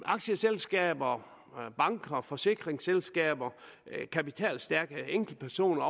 aktieselskaber banker forsikringsselskaber kapitalstærke enkeltpersoner